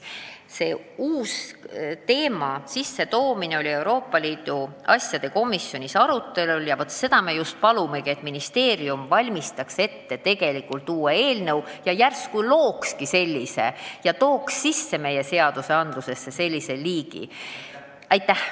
Selle uue teema sissetoomine oli Euroopa Liidu asjade komisjonis arutelul ja me palumegi, et ministeerium valmistaks ette uue eelnõu ja järsku tookski meie seadustikku sisse sellise uue kategooria.